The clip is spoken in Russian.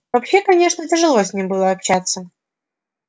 вообще конечно тяжело с ним было общаться